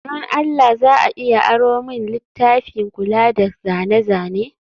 don Allah za a iya aro min littafin kula da zane-zane?